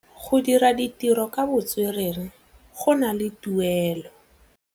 Go dira ditirô ka botswerere go na le tuelô.